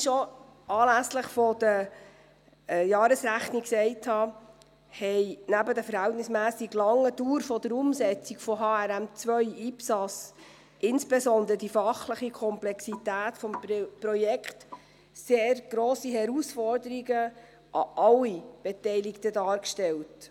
Wie ich schon anlässlich der Jahresrechnung gesagt habe, hat neben der verhältnismässig langen Dauer der Umsetzung von HRM2/IPSAS insbesondere die fachliche Komplexität des Projekts sehr grosse Herausforderungen an alle Beteiligten gestellt.